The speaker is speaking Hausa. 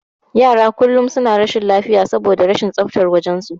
Yaran kullum suna rashin lafiya saboda rashin tsaftar wajen su.